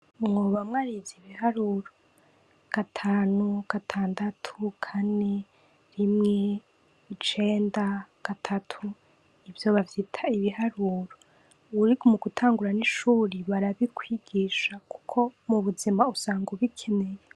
Mwoba mwarize ibiharuro? Gatanu, gatandatu, kane, rimwe, icenda, gatatu, ivyo bavyita ibiharuro. Uri mugutangura n’ishuri barabikwigisha kuko mubuzima usanga ubikeneye.